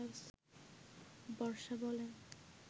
বর্ষা বলেন